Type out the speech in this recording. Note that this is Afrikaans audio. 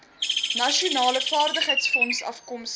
nasionale vaardigheidsfonds afkomstig